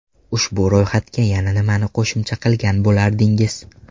Ushbu ro‘yxatga yana nimani qo‘shimcha qilgan bo‘lardingiz?